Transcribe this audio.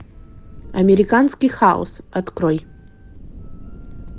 американский хаос открой